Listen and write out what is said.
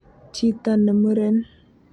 "Chito ne muren